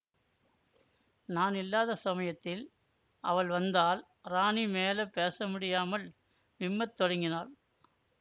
நான் இல்லாத சமயத்தில் அவள் வந்தால் ராணி மேல பேசமுடியாமல் விம்மத் தொடங்கினாள்